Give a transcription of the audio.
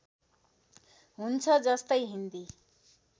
हुन्छ जस्तै हिन्दी